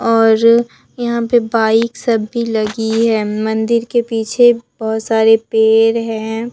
और यहां पे बाइक सभी लगी है मंदिर के पीछे बहोत सारे पेड़ हैं।